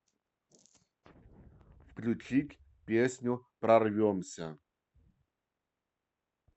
включить песню прорвемся